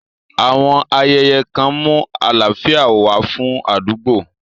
Àwọn ayẹyẹ kan mú àlàáfíà wá fún àdúgbò.